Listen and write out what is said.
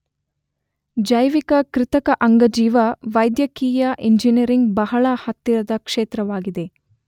ಜೈವಿಕ ಕೃತಕ ಅಂಗಜೀವ ವೈದ್ಯಕೀಯ ಇಂಜನಿಯರಿಂಗ್ ಬಹಳ ಹತ್ತಿರದ ಕ್ಷೇತ್ರವಾಗಿದೆ.